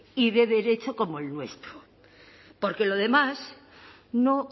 y de derecho como el nuestro porque lo demás no